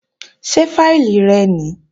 Ṣé fáìlì rẹ nìí?